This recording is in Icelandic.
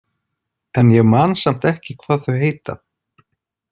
En ég man samt ekki hvað þau heita.